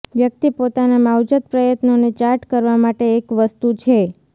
વ્યક્તિ પોતાના માવજત પ્રયત્નોને ચાર્ટ કરવા માટે એક વસ્તુ છે